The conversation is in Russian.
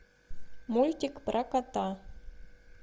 мультик про кота